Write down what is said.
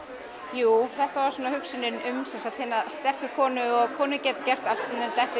jú þetta var hugsunin um hina sterku konu og að konur geti gert allt sem þeim dettur